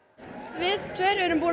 við tveir erum búnir